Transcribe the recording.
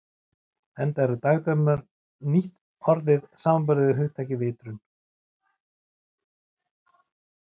Enda eru dagdraumar nýtt orð samanborið við hugtakið vitrun.